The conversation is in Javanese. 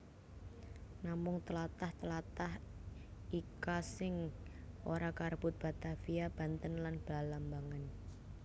Namung tlatah tlatah ika sing ora karebut Batavia Banten lan Balambangan